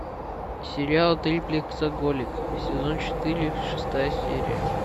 сериал триплексоголик сезон четыре шестая серия